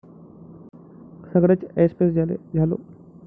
सगळेच ऐसपैस झालो.